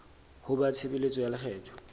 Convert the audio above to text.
ho ba tshebeletso ya lekgetho